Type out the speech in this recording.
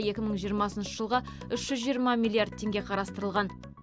екі мың жиырмасыншы жылға үш жүз жиырма миллиард теңге қарастырылған